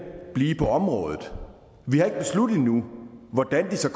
blive på området vi har ikke besluttet endnu hvordan de så